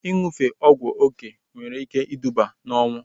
Ịṅụfe ọgwụ oké nwere ike iduba na ọnwụ